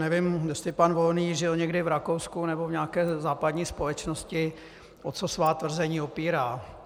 Nevím, jestli pan Volný žil někdy v Rakousku nebo v nějaké západní společnosti, o co svá tvrzení opírá.